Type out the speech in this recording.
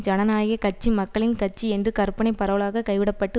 ஜனநாயக கட்சி மக்களின் கட்சி என்ற கற்பனை பரவலாக கைவிடப்பட்டு